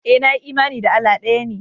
Ee, nayi imani Allah ɗaya ne